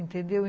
Entendeu?